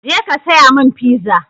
Je ka saya mun fiza!